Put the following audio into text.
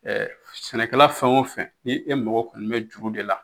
Ɛɛ sɛnɛkɛla fɛn o fɛn ni e magɔ kɔni be juru de la